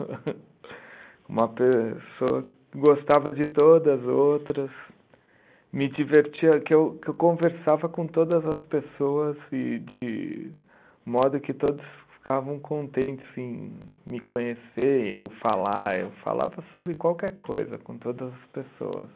Uma pessoa que gostava de todas, outras. Me divertia, que eu que eu conversava com todas as pessoas e de modo que todos ficavam contentes em me conhecer, eu falar, eu falava sobre qualquer coisa com todas as pessoas.